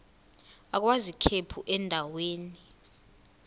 agwaz ikhephu endaweni